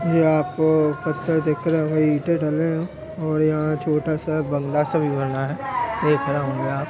ये आपको पत्थर दिख रहे होंगे ईंटे डले हैं और यहाँ छोटा सा बंगला सा भी बना है। देख रहे होंगे आप।